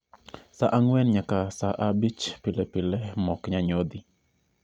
Sa ang'wen nyaka sa abich pile pile mok nyanyodhi